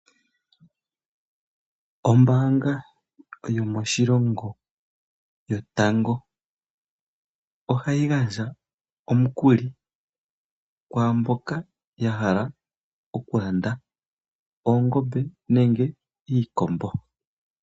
Ombaanga yomoshilongo yotango ohayi gandja omukuli kwaa mboka ya hala okulanda oongombe nenge iikombo.